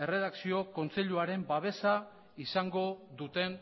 erredakzio kontseiluaren babesa izango duten